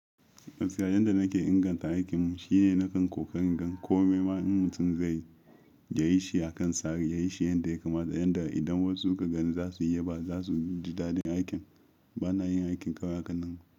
Gaskiya yanda nake inganta aikin shine nakan ƙoƙari in gan komai ma in mutum zai yi, ya yi shi a kan tsari, yayi shi yanda ya kamata, yanda idan wasu suka gani za su yaba, ba za su ji daɗin aikin. Ba na yin aikin kawai a kan nan.